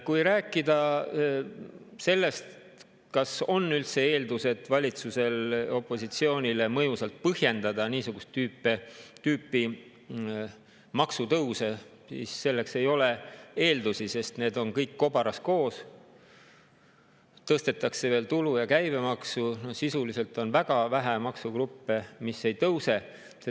Kui rääkida sellest, kas on üldse eeldused valitsusel opositsioonile mõjusalt põhjendada niisugust tüüpi maksutõuse, siis selleks ei ole eeldusi, sest need on kõik kobaras koos, tõstetakse veel tulu‑ ja käibemaksu, no sisuliselt on väga vähe maksugruppe, mis ei tõuse.